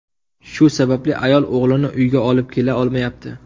Shu sabab ayol o‘g‘lini uyga olib kela olmayapti.